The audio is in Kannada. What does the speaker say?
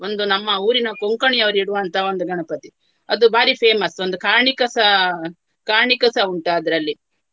ಒಂದು ನಮ್ಮ ಊರಿನ ಕೊಂಕಣಿಯವರು ಇಡುವಂತಹ ಒಂದು ಗಣಪತಿ. ಅದು ಭಾರಿ famous ಒಂದು ಕಾಣಿಕಸ ಕಾಣಿಕಸ ಉಂಟು ಅದರಲ್ಲಿ